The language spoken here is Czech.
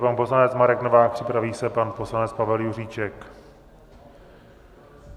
Pan poslanec Marek Novák, připraví se pan poslanec Pavel Juříček.